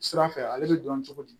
Sira fɛ ale bɛ dɔn cogo di